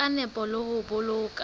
ka nepo le ho boloka